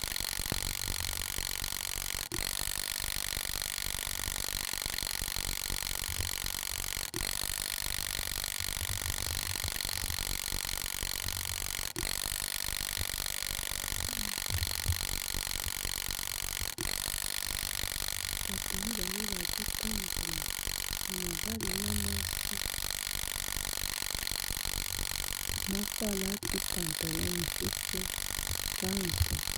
bato mibale bazotambola ya mobali na mwasi moko alati pantalon mosusu kango